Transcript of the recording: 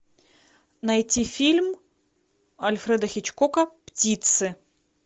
найти фильм альфреда хичкока птицы